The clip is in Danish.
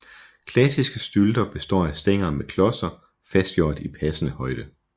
Klassiske stylter består af stænger med klodser fastgjort i passende højde